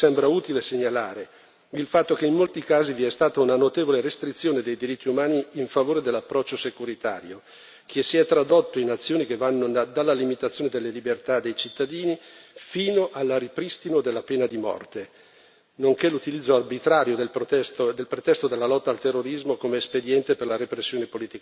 Infine c'è un capitolo che riguarda la lotta al terrorismo e anche qui mi sembra utile segnalare il fatto che in molti casi vi è stata una notevole restrizione dei diritti umani in favore dell'approccio securitario, che si è tradotto in azioni che vanno dalla limitazione delle libertà dei cittadini fino al ripristino della pena di morte, nonché all'utilizzo arbitrario